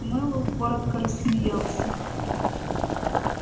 мэллоу коротко рассмеялся